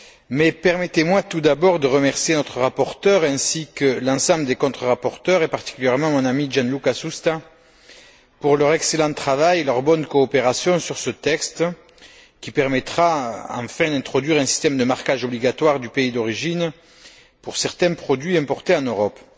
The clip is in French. Mais permettez moi tout d'abord de remercier notre rapporteur ainsi que l'ensemble des contre rapporteurs et particulièrement mon ami, Gianluca Susta, pour leur excellent travail et leur bonne coopération sur ce texte, qui permettra enfin d'introduire un système de marquage obligatoire du pays d'origine, pour certains produits importés en Europe.